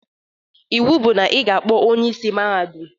Iwu bụ na ị ga-akpọ onye isi Mahadum!